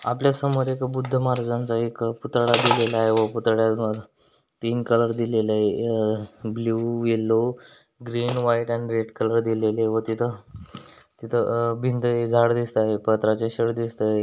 आपल्या समोर एक बुद्ध महाराजांचं एक पुतळा दिलेल आहे व पुतळ्याला तीन कलर दिलेल आहे अह blue yellow green white and red colour दिलेले व तिथ तिथ अह भिंतळी झाड दिसतय पत्र्याचे शेड दिसतय.